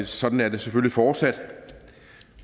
sådan er det selvfølgelig fortsat